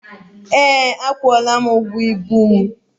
Ee, akwụọla m ụgwọ ibu mụ.